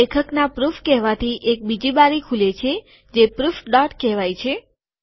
લેખકના પ્રૂફ કહેવાથી એક બીજી બારી ખુલે છે જે પ્રૂફ ડોટ કહેવાય છે